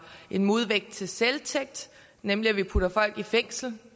en modvægt til selvtægt nemlig at vi putter folk i fængsel